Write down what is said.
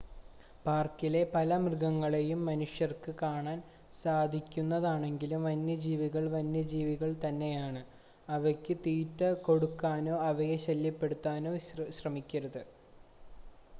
പാർക്കിലെ പല മൃഗങ്ങളെയും മനുഷ്യർക്ക് കാണാൻ സാധിക്കുന്നതാണെങ്കിലും വന്യജീവികൾ വന്യജീവികൾ തന്നെയാണ് അവയ്ക്ക് തീറ്റ കൊടുക്കാനോ അവയെ ശല്യപ്പെടുത്താനോ ശ്രമിക്കരുത്